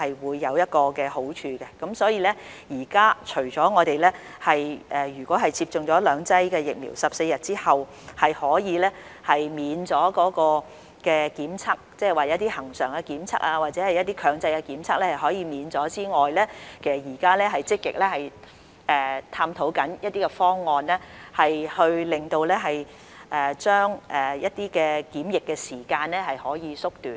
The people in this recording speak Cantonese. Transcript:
所以，現時除了已接種兩劑疫苗的在14天之後可以豁免檢測，即一些恆常的檢測或一些強制檢測可以免卻之外，其實我們現時正積極探討一些方案將檢疫時間縮短。